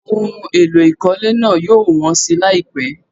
Ohun èlò ìkọ́lé náà yóò wọ́n si láìpẹ́.